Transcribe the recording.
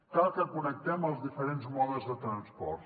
cal que connectem els diferents modes de transport